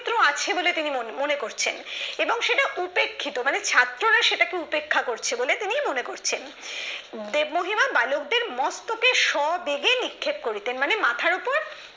ক্ষেত্র আছে বলে তিনি মনে করছেন এবং সেটা উপেক্ষিত মানে ছাত্ররা সেই উপেক্ষা করছে বলে তিনি মনে করছেন মহিমা বালকদের মস্তকে সবেগে নিক্ষেপ করিতেন মানে মাথার ওপর